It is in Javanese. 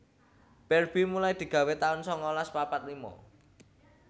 Barbie mulai digawé taun sangalas papat lima